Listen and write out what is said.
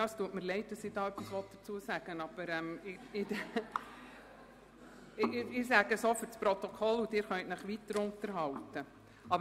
Ich weiss nicht, ob ich etwas dazu sagen will, äussere mich aber auch zuhanden des Protokolls, sodass Sie sich weiter unterhalten können.